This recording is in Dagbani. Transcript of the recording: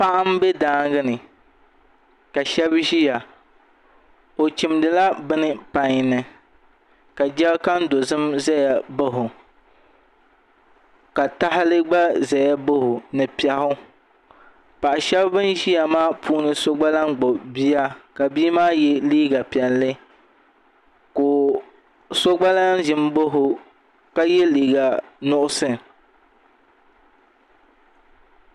Paɣa n bɛ daangi ni ka shaba ʒiya o chimdila bini pai nika jɛrikan dozim ʒɛya bao ka tahali gba ʒɛya bao ni piɛɣu paɣa shab bin ʒiya maa puuni so gba lahi gbubi bia ka bia maa yɛ liiga piɛlli ka paɣa so gba ʒi n ba o ka yɛ liiga nuɣso